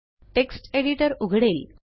text editor उघडेल